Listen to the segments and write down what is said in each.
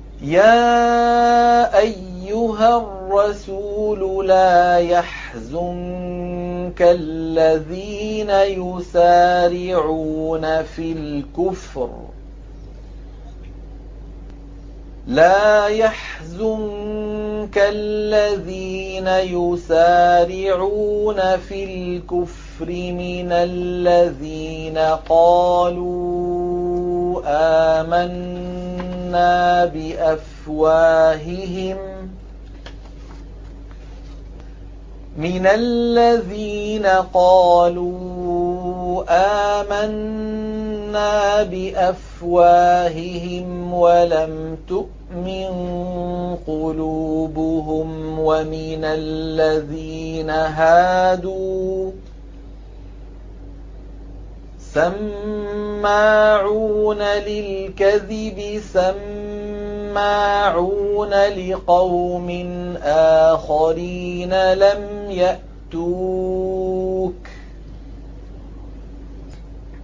۞ يَا أَيُّهَا الرَّسُولُ لَا يَحْزُنكَ الَّذِينَ يُسَارِعُونَ فِي الْكُفْرِ مِنَ الَّذِينَ قَالُوا آمَنَّا بِأَفْوَاهِهِمْ وَلَمْ تُؤْمِن قُلُوبُهُمْ ۛ وَمِنَ الَّذِينَ هَادُوا ۛ سَمَّاعُونَ لِلْكَذِبِ سَمَّاعُونَ لِقَوْمٍ آخَرِينَ لَمْ يَأْتُوكَ ۖ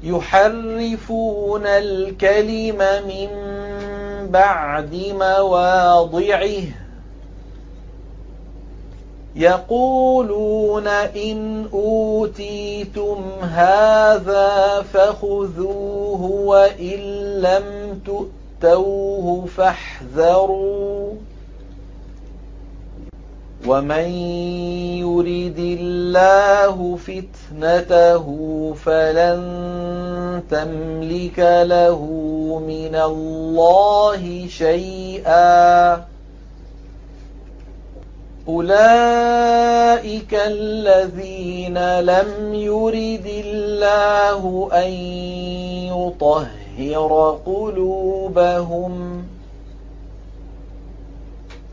يُحَرِّفُونَ الْكَلِمَ مِن بَعْدِ مَوَاضِعِهِ ۖ يَقُولُونَ إِنْ أُوتِيتُمْ هَٰذَا فَخُذُوهُ وَإِن لَّمْ تُؤْتَوْهُ فَاحْذَرُوا ۚ وَمَن يُرِدِ اللَّهُ فِتْنَتَهُ فَلَن تَمْلِكَ لَهُ مِنَ اللَّهِ شَيْئًا ۚ أُولَٰئِكَ الَّذِينَ لَمْ يُرِدِ اللَّهُ أَن يُطَهِّرَ قُلُوبَهُمْ ۚ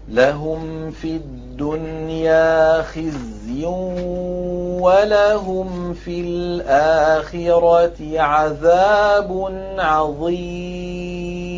لَهُمْ فِي الدُّنْيَا خِزْيٌ ۖ وَلَهُمْ فِي الْآخِرَةِ عَذَابٌ عَظِيمٌ